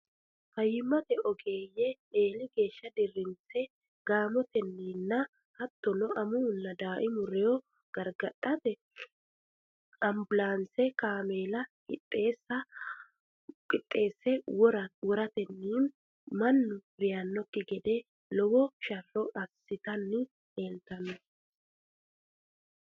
Fayyimmate oggeeyye eeli geeshsha dirrinse gaamatenninna hattono amuwunna daaimu rewo gargadhate ambulaansete kaameela qixxeesse woratenni mannu reyannokki gede lowo sharro assitanni leeltanno.